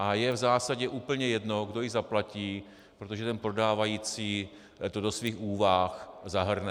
A je v zásadě úplně jedno, kdo ji zaplatí, protože ten prodávající to do svých úvah zahrne.